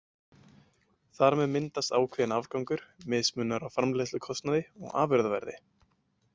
Þar með myndast ákveðinn afgangur, mismunur á framleiðslukostnaði og afurðaverði.